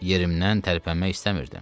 Yerimdən tərpənmək istəmirdim.